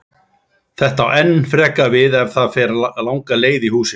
Þetta á enn frekar við ef það fer langa leið í húsinu.